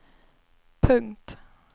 punkt